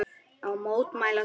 Ég mótmæli því.